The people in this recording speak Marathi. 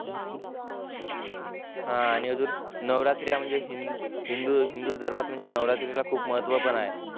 हा आणि अजून नवरात्री म्हणजे हिंदू हिंदुधर्मात म्हणजे नवरात्रीला खूप महत्व पण आहे